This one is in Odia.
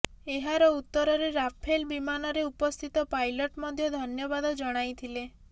ଏହାର ଉତ୍ତରରେ ରାଫେଲ ବିମାନରେ ଉପସ୍ଥିତ ପାଇଲଟ ମଧ୍ୟ ଧନ୍ୟବାଦ ଜଣାଇ ଥିଲେ